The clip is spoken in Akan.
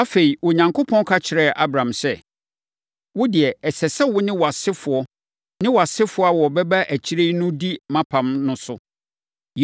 Afei, Onyankopɔn ka kyerɛɛ Abraham sɛ, “Wo deɛ, ɛsɛ sɛ wo ne wʼasefoɔ ne wʼasefoɔ a wɔbɛba akyire no di mʼapam no so.